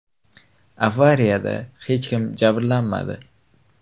Avariyada hech kim jabrlanmadi.